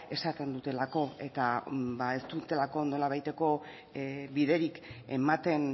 esaten dutelako eta ez dutelako nolabaiteko biderik ematen